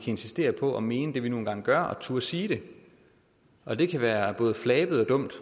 insistere på at mene det vi nu engang gør og turde sige det og det kan være både flabet og dumt